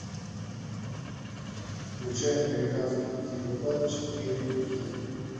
включай американский психопат четыре кей